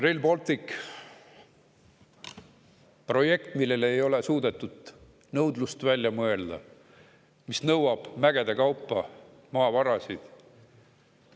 Rail Baltic on projekt, millele ei ole suudetud nõudlust välja mõelda, aga mis nõuab mägede kaupa maavarasid.